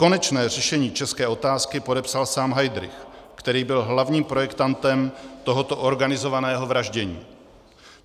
Konečné řešení české otázky podepsal sám Heydrich, který byl hlavním projektantem tohoto organizovaného vraždění.